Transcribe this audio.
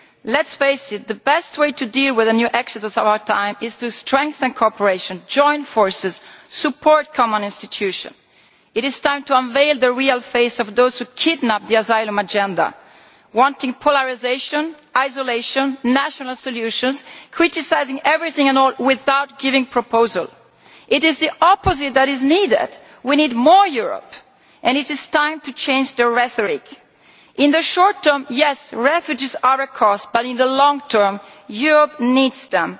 Let us face it, the best way to deal with a new exodus in our time is to strengthen cooperation, join forces and support common institutions. It is time to reveal the true face of those who kidnap the asylum agenda, in an attempt to bring polarisation, isolation and national solutions by criticising everything and everyone without giving proposals. It is the opposite that is needed we need more Europe. It is time to change the rhetoric. In the short term, yes, refugees are a cost, but in the long term Europe needs